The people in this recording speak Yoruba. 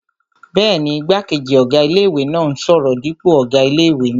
Bẹ́ẹ̀ni, igbákejì ọ̀gá ilé-ìwé náà n sọ̀rọ̀ dípò ọ̀gá ilé-ìwé náà